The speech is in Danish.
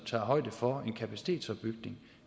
tager højde for en kapacitetsopbygning